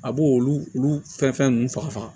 A b'o olu olu fɛn fɛn ninnu faga